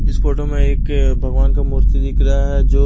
इस फोटो में एक भगवान का मूर्ति दिख रहा है जो--